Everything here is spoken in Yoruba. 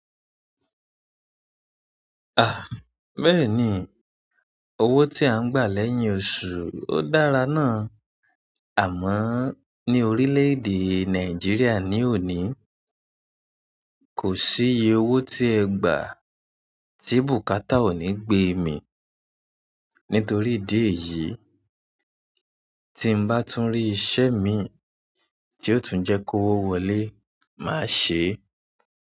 Ah bẹ́ẹ̀ni owo ti a n gba lẹ́yìn oṣù. O dára náà. Àmọ́ ní orílẹ̀ èdè Nàìjíríà ní òní, kò sí iye owó tí ẹ gbà tí bùkátà ò ní gbé mii. Nítorí ìdí èyí, tí ń bá tún rí iṣẹ́ mii tí ò tún jẹ́ kówó wọlé, màá ṣe é.